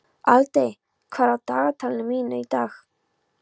Aldey, hvað er á dagatalinu mínu í dag?